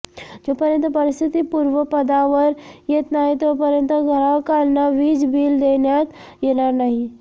जोपर्यंत परिस्थिती पूर्वपदावर येत नाही तोपर्यंत ग्राहकांना वीज बिल देण्यात येणार नाही